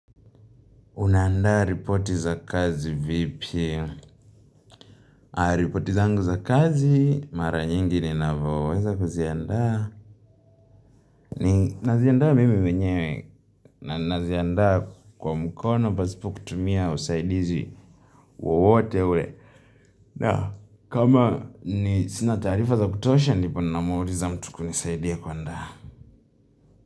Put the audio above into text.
Unaandaa ripoti za kazi vipi? Ripoti zangu za kazi, mara nyingi ninapoweza kuziandaa. Naziandaa mimi mwenyewe na ninaziandaa kwa mkono pasipo kutumia usaidizi wowote ule. Na, kama ni sina taarifa za kutosha, ndipo namuuliza mtu kunisaidia kuandaa.